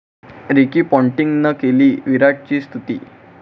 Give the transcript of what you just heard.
Ricky पाँटिंगनं केली विराटची स्तुती